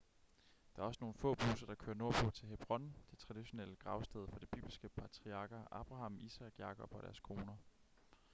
der er også nogle få busser der kører nordpå til hebron det traditionelle gravsted for de bibelske patriarker abraham isak jakob og deres koner